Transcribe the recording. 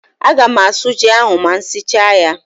Aga m asụ ji ahụ ma m sichaa ya.